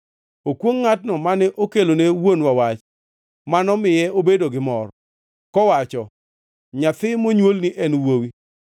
Okwongʼ ngʼatno mane okelone wuonwa wach, manomiye obedo gi mor, kowacho, “Nyathi monywolni en wuowi!”